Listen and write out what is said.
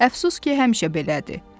Əfsus ki, həmişə belədir.